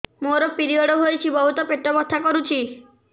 ମୋର ପିରିଅଡ଼ ହୋଇଛି ବହୁତ ପେଟ ବଥା କରୁଛି